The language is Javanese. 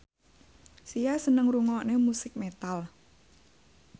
Sia seneng ngrungokne musik metal